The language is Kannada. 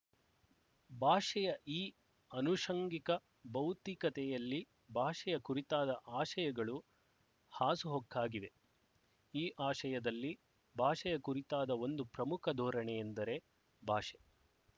ಭಾಷೆಯ ಈ ಆನುಶಂಗಿಕ ಭೌತಿಕತೆಯಲ್ಲಿ ಭಾಷೆಯ ಕುರಿತಾದ ಆಶಯಗಳು ಹಾಸುಹೊಕ್ಕಾಗಿವೆ ಈ ಆಶಯದಲ್ಲಿ ಭಾಷೆಯ ಕುರಿತಾದ ಒಂದು ಪ್ರಮುಖ ಧೋರಣೆ ಎಂದರೆ ಭಾಷೆ